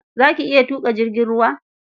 Za ki iya tuƙa jirgin ruwa?